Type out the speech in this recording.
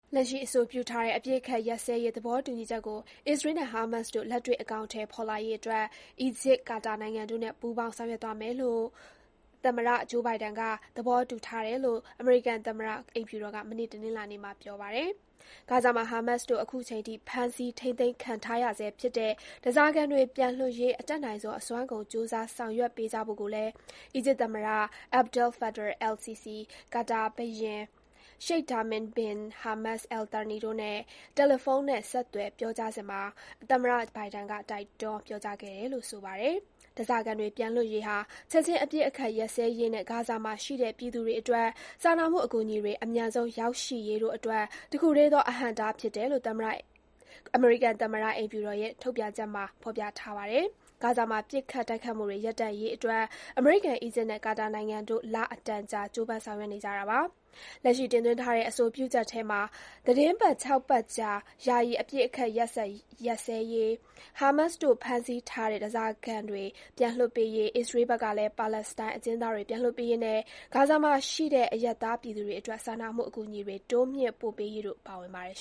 လက်ရှိ အဆိုပြုထားတဲ့ အပစ်အခတ်ရပ်စဲရေး သဘောတူညီချက်ကို အစ္စရေးနဲ့ ဟာမတ်စ်တို့ လက်တွေ့ အကောင်အထည်ဖော်လာရေးအတွက် အီဂျစ်၊ ကာတာနိုင်ငံတို့နဲ့ ပူးပေါင်း ဆောင်ရွက်သွားဖို့ သမ္မတ Joe Biden က သဘောတူထားတယ်လို့ အမေရိကန်သမ္မတ အိမ်ဖြူတော်က မနေ့ တနင်္လာနေ့မှာ ပြောပါတယ်။ ဂါဇာမှာ ဟာမတ်စ်တို့ အခုချိန်ထိ ဖမ်းဆီး ထိန်းသိမ်းခံထားရဆဲဖြစ်တဲ့ ဓားစာခံတွေပြန်လွှတ်ရေး အတတ်နိုင်ဆုံး အစွမ်းကုန် ကြိုးစား ဆောင်ရွက်ပေးကြဖို့ကိုလည်း အီဂျစ်သမ္မတ Abdel Fattah el-Sissi ကာတာဘုရင် Sheikh Tamim bin Hamad Al Thani တို့နဲ့ တယ်လီဖုန်းနဲ့ ဆက်သွယ်ပြောကြားစဉ် သမ္မတ Biden က တိုက်တွန်း ပြောကြားခဲ့တယ်လို့ ဆိုပါတယ်။ ဓားစာခံတွေ ပြန်လွှတ်ရေးဟာ ချက်ခြင်း အပစ်အခတ်ရပ်စဲရေးနဲ့ ဂါဇာမှာရှိတဲ့ ပြည်သူတွေအတွက် စာနာမှုအကူအညီတွေ အမြန်ဆုံး ရောက်ရှိရေးတို့အတွက် တခုတည်းသော အဟန့်အတားဖြစ်တယ်လို့ အမေရိကန်သမ္မတအိမ်ဖြူတော်ရဲ့ ထုတ်ပြန်ချက်မှာ ဖော်ပြထားပါတယ်။ ဂါဇာမှာ ပစ်ခတ် တိုက်ခိုက်မှုတွေ ရပ်တန့်ရေးအတွက် အမေရိကန်၊ အီဂျစ်နဲ့ ကာတာနိုင်ငံတို့ လအတန်ကြာ ကြိုးပမ်း ဆောင်ရွက်နေကြတာပါ။ လက်ရှိ တင်သွင်းထားတဲ့ အဆိုပြုချက်ထဲမှာ သီတင်းပတ် ၆ ပတ်ကြာ ယာယီ အပစ်အခတ်ရပ်စဲရေး၊ ဟာမတ်စ်တို့ ဖမ်းဆီးထားတဲ့ ဓားစာခံတွေ ပြန်လွှတ်ပေးရေး၊ အစ္စရေးဘက်ကလည်း ပါလက်စတိုင်း အကျဉ်းသားတွေ ပြန်လွှတ်ပေးရေးနဲ့ ဂါဇာမှာရှိတဲ့ အရပ်သား ပြည်သူတွေအတွက် စာနာမှုအကူအညီတွေ တိုးမြင့် ပို့ပေးရေးတို့ ပါဝင်ပါတယ်